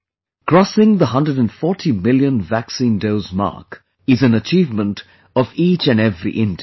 Crossing the 140 million vaccine dose mark is an achievement of each and every Indian